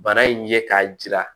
Bana in ye k'a jira